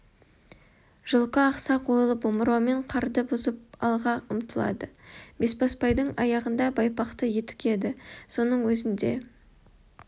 жылқы ақсақ ойылып омырауымен қарды бұзып алға ұмтылады бесбасбайдың аяғында байпақты етік еді соның өзін де